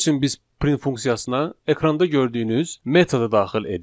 Bunun üçün biz print funksiyasına ekranda gördüyünüz metodu daxil edirik.